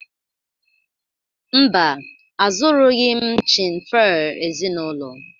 Mba, azụrụghị m chin fir ezinụlọ